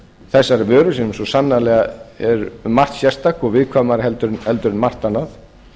þessarar vöru sem svo sannarlega er um margt sérstök og viðkvæmari en margt annað